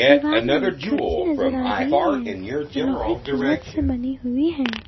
दीवार में खिड़की नजर आ रही है जो लोहे की मदद से बनी हुई है।